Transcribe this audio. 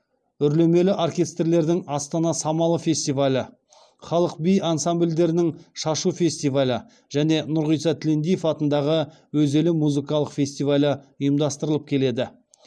үрлемелі оркестрлердің астана самалы фестивалі халық би ансамбльдерінің шашу фестивалі және нұрғиса тілендиев атындағы өз елім музыкалық фестивалі ұйымдастырылып келеді